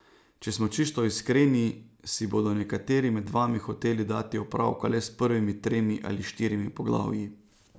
Če smo čisto iskreni, si bodo nekateri med vami hoteli dati opravka le s prvimi tremi ali štirimi poglavji.